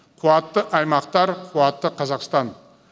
қуатты аймақтар қуатты қазақстан